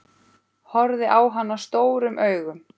Horfði á hana stórum augum.